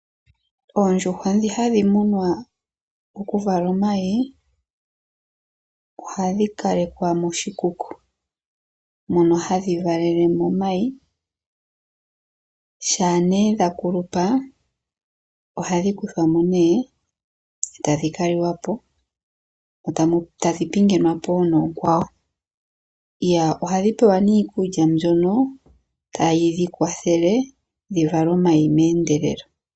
Oondjuhwa dhi hadhi munwa oku vala omayi, ohadhi kalekwa moshikuku mono hadhi valele mo omayi. Shaa ne dha kulupa ohadhi kuthwamo nee tadhi ka liwa po, dho tadhi pingenwapo noonkwawo. Ohadhi pewa nee iikulya mbyono tayi dhi kwathele dhivale omayi meendelelo.